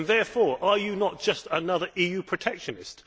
Therefore, are you not just another EU protectionist?